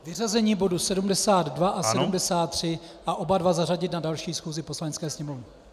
Vyřazení bodů 72 a 73 a oba dva zařadit na další schůzi Poslanecké sněmovny.